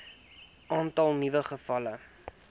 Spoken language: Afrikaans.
aantal nuwe gevalle